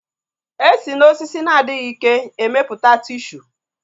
E si na osisi na-adịghị ike emeputa tishu